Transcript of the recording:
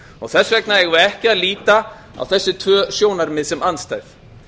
og þess vegna eigum við ekki að líta á þessi tvö sjónarmið sem andstæð